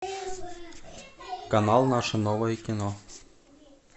канал наше новое кино